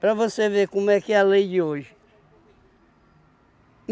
Para você ver como é que é a lei de hoje.